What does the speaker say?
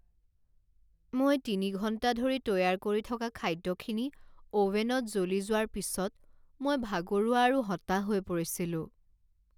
মই তিনি ঘণ্টা ধৰি তৈয়াৰ কৰি থকা খাদ্যখিনি অ'ভেনত জ্বলি যোৱাৰ পিছত মই ভাগৰুৱা আৰু হতাশ হৈ পৰিছিলোঁ।